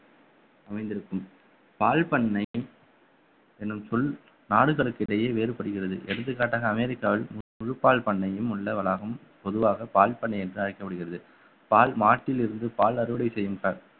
அமைந்திருக்கும் பால் பண்ணை என்னும் சொல் நாடுகளுக்கு இடையே வேறுபடுகிறது எடுத்துக்காட்டாக அமெரிக்காவில் முழு பால் பண்ணையும் உள்ள வளாகம் பொதுவாக பால் பண்ணை என்று அழைக்கப்படுகிறது பால் மாட்டிலிருந்து பால் அறுவடை செய்யும்